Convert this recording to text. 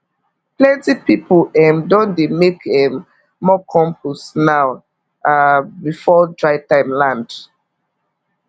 plenty people um don dey make um more compost now um before dry time land